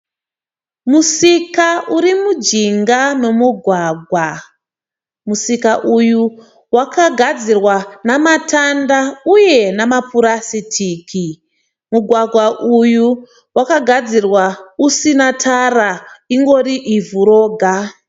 Musika uri mujinga memugwagwa. Musika uyu wakagadzirwa namatanda uye namapurasitiki. Mugwagwa uyu wakagadzirwa usina tara ingori ivhu roga.